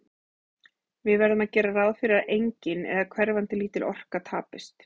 Við verðum að gera ráð fyrir að engin, eða hverfandi lítil, orka tapist.